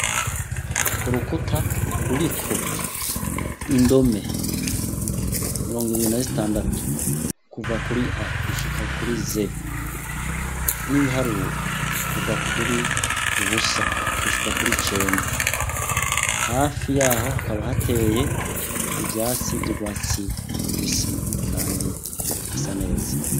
Urukuta ruriko indome mirongo ibiri na zitandatu kuva kuri A gushika kuri Z, n'ibiharuro kuva kuri ubusa gushika kuri cenda, hafi yaho hakaba hateye ivyatsi vy'urwatsi rubisi kandi hasa neza.